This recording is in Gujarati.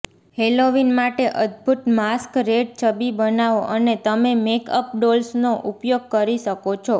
હેલોવીન માટે અદભૂત માસ્કરેડ છબી બનાવો અને તમે મેકઅપ ડોલ્સનો ઉપયોગ કરી શકો છો